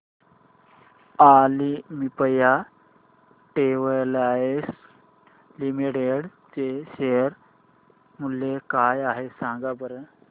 Olympia Textiles Limited चे share मूल्य काय आहे सांगा बरं